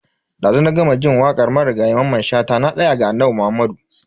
Dazu na gama jin wakar marigayi Mamman Shata "Na tsaya ga Annabi Muhammadu".